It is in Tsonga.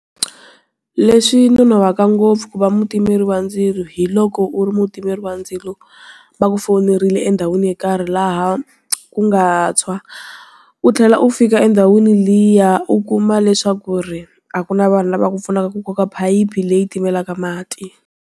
Leswi nonohaka ngopfu ku va mutimeri ndzilo hi loko u ri mutirhi wa ndzilo, va ku fowunerile endhawini yo karhi laha, ku nga tshwa. U tlhela u fika endhawini liya u kuma leswaku ku ri, a ku na vanhu lava ku pfunaka ku koka phayiphi leyi timelaka mati.